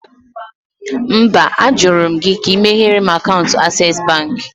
No, I did ask you to open access bank account for me.